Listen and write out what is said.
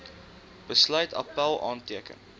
besluit appèl aanteken